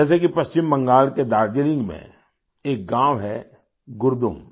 जैसे कि पश्चिम बंगाल के दार्जिलिंग में एक गाँव है गुरदुम